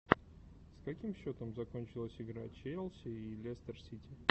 с каким счетом закончилась игра челси и лестер сити